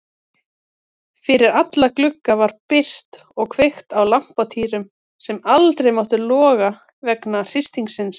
Fyrir alla glugga var byrgt og kveikt á lampatýrum sem ekkert máttu loga vegna hristingsins.